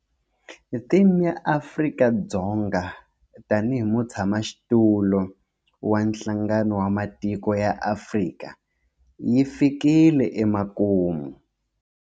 Theme ya Afrika-Dzonga tanihi mutshamaxitulu wa Nhlangano wa Matiko ya Afrika yi fikile emakumu.